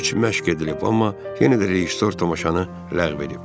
Üç məşq edilib, amma yenə də rejissor tamaşanı ləğv edib.